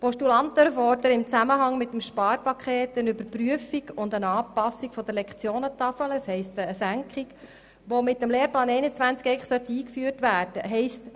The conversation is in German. Die Postulanten fordern im Zusammenhang mit dem Sparpaket eine Überprüfung und Anpassung der Lektionentafel, das heisst eine Senkung, die mit dem Lehrplan 21 eingeführt werden soll.